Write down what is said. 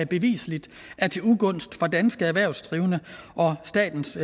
bevisligt var til ugunst for danske erhvervsdrivende og statens